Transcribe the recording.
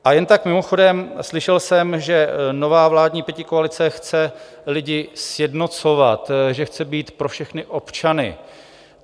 A jen tak mimochodem, slyšel jsem, že nová vládní pětikoalice chce lidi sjednocovat, že chce být pro všechny občany.